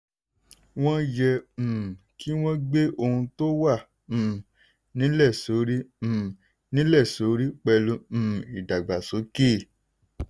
wọ́n yẹ um kí wọ́n gbe ohun tó wà um nílẹ̀ sórí um nílẹ̀ sórí pẹ̀lú um ìdàgbàsókè.